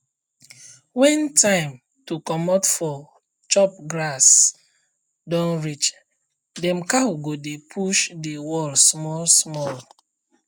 when time to comot for chop grass don reachdem cow go dey push the wall small small